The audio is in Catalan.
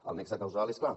el nexe causal és clar